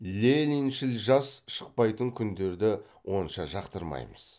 лениншіл жас шықпайтын күндерді онша жақтырмаймыз